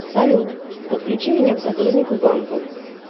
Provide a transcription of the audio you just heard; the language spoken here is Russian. салют подключи меня к сотруднику банка